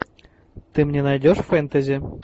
ты мне найдешь фэнтази